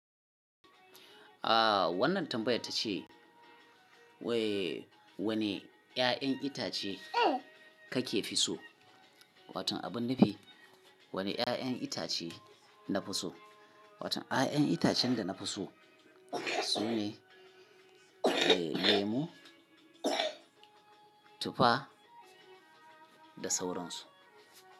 Ah wannan tambayar tace way wani ƴaƴan itace kake fi so? Watan abun nufi. Wani ƴaƴan itace na fi so? Watan a'a ƴaƴan itacen da na fi so sune lemon tufa da sauransu.